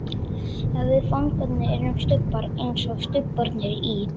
Ef við fangarnir erum stubbar, einsog stubbarnir í